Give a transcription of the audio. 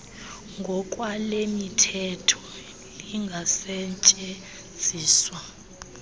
ngokwale mithetho lingasetyenziswa